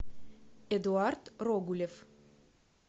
эдуард рогулев